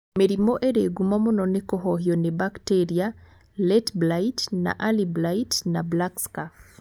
Mĩrimũ ĩrĩ ngumo mũno ni kũhohio nĩ bakteria, Late blight na early blight na Black Scurf